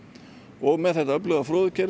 og með þetta öfluga